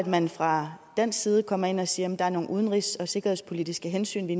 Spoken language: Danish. man fra dansk side kommer ind og siger at der er nogle udenrigs og sikkerhedspolitiske hensyn vi